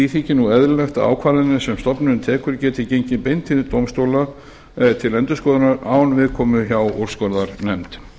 þykir nú eðlilegt að ákvarðanir sem stofnunin tekur geti gengið beint til dómstóla til endurskoðunar án viðkomu hjá úrskurðarnefnd